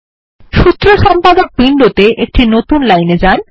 সূত্র সম্পাদক উইন্ডোত়ে একটি নতুন লাইন এ যান